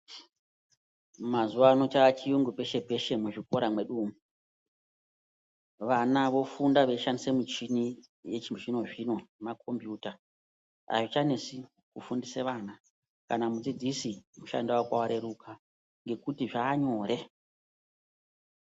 Mazuva ano chachiyungu peshe-peshe muzvikora mwedu umwu. Vana vofunda veishandisa muchini yechizvino-zvino nemakombiyuta. Haichanesi kufundisa vana kana mudzidzisi mushando vake vareruka ngekuti zvanyore.